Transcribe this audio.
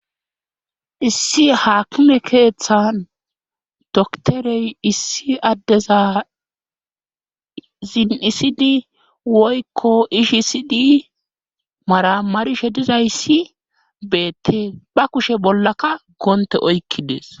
issi haakime keeththan doktorey issi addeza ziin7isidi woykko ishisidi mara marishe dizayssi beette ba kushe bollaka goonte oykki dees